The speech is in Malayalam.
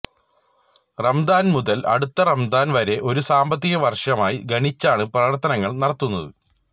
റമദാന് മുതല് അടുത്ത റമദാന് വരെ ഒരു സാമ്പത്തിക വര്ഷമായി ഗണിച്ചാണ് പ്രവര്ത്തനങ്ങള് നടത്തുന്നത്